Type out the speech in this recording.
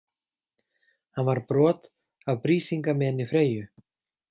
Hann var brot af Brísingameni Freyju.